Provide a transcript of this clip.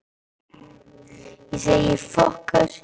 Birkir og Elías gengu til baka niður í kjallarann.